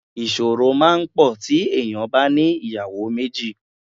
Ìṣòro máa pọ̀ tí èèyàn bá ní ìyàwó méjì.